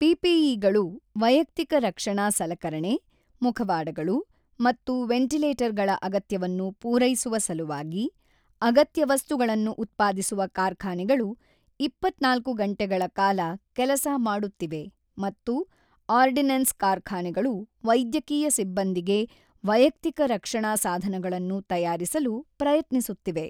ಪಿಪಿಇಗಳು ವೈಯಕ್ತಿಕ ರಕ್ಷಣಾ ಸಲಕರಣೆ, ಮುಖವಾಡಗಳು ಮತ್ತು ವೆಂಟಿಲೇಟರ್ಗಳ ಅಗತ್ಯವನ್ನು ಪೂರೈಸುವ ಸಲುವಾಗಿ, ಅಗತ್ಯ ವಸ್ತುಗಳನ್ನು ಉತ್ಪಾದಿಸುವ ಕಾರ್ಖಾನೆಗಳು ಇಪ್ಪತ್ತ ನಾಲ್ಕು ಗಂಟೆಗಳ ಕಾಲ ಕೆಲಸ ಮಾಡುತ್ತಿವೆ ಮತ್ತು ಆರ್ಡಿನೆನ್ಸ್ ಕಾರ್ಖಾನೆಗಳು ವೈದ್ಯಕೀಯ ಸಿಬ್ಬಂದಿಗೆ ವೈಯಕ್ತಿಕ ರಕ್ಷಣಾ ಸಾಧನಗಳನ್ನು ತಯಾರಿಸಲು ಪ್ರಯತ್ನಿಸುತ್ತಿವೆ.